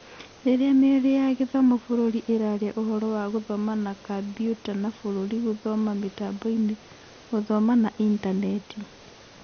Rĩrĩa mĩario ya gĩthomo bũrũri ĩrarĩa ũhũro wa gũthoma na Kambiuta na bũrũri gũthoma mĩtamboinĩ, gũthoma na intaneti.